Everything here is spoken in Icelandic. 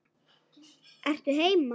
Ertu heima?